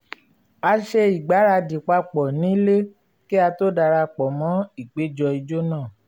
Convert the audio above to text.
a ṣe ìgbáradì papọ̀ nílé kí a tó dara pọ̀ mọ́ ìpéjọ ijó náà